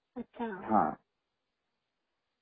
अच्छा